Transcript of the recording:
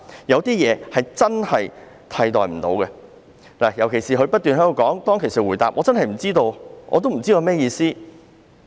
有些事真的不能被取代，正如他當時不斷回答，他真的不知道有甚麼意思。